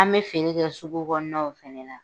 An bɛ fini kɛ sugu kɔnɔnaw fana na.